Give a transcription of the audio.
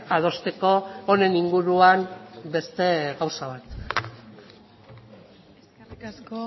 adosteko honen inguruan beste gauza bat eskerrik asko